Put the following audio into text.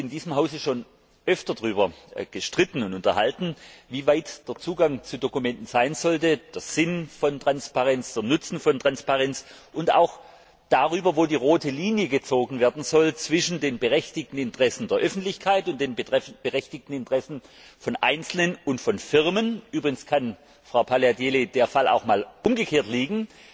Wir haben uns in diesem Hause schon öfter darüber gestritten und unterhalten, wie weit der Zugang zu Dokumenten möglich sein sollte, über den Sinn von Transparenz, den Nutzen von Transparenz und auch darüber, wo die rote Linie gezogen werden soll zwischen den berechtigten Interessen der Öffentlichkeit und den berechtigten Interessen von einzelnen Personen und von Firmen. Übrigens kann, Frau Paliadeli, der Fall auch einmal umgekehrt liegen,